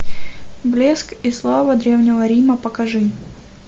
блеск и слава древнего рима покажи